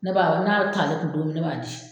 Ne b'a ko n'a t'ale kun don min ne b'a di